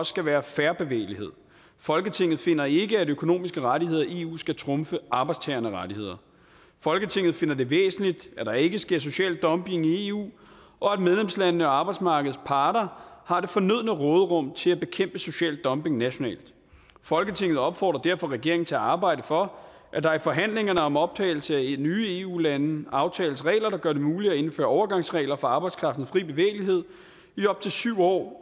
skal være fair bevægelighed folketinget finder ikke at økonomiske rettigheder i eu skal trumfe arbejdstagernes rettigheder folketinget finder det væsentligt at der ikke sker social dumping i eu og at medlemslandene og arbejdsmarkedets parter har det fornødne råderum til at bekæmpe social dumping nationalt folketinget opfordrer derfor regeringen til at arbejde for at der i forhandlingerne om optagelse af nye eu lande aftales regler der gør det muligt at indføre overgangsregler for arbejdskraftens fri bevægelighed i op til syv år